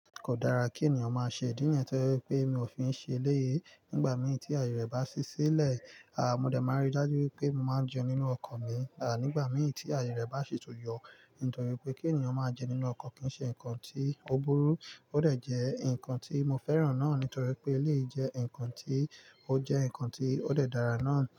Kò dára kí ènìyàn má ṣe, ìdí nìyẹn to jẹ pé mi ò fi ń ṣe eléyìí, nígbà mí tí àyè rẹ̀ bá ṣí sílẹ̀, à mo dẹ̀ máa rí dájú wípé mo máa jẹun nínú ọkọ̀ mi. À nígbà mí tí àyè rẹ̀ bá ṣi tún yọ, nítorí pé kí ènìyàn máa jẹun nínú ọkọ̀ kì ń ṣe nǹkan tí ó burú. Ó dẹ̀ jẹ́ ǹkan tí mo fẹ́ràn náà nítorí pé eléyìí jẹ́ ǹkan tí ó jẹ́ ǹkan tí ó dẹ̀ dára náà.